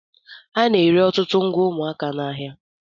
A na-ere ọtụtụ ngwa ụmụaka n'ahịa.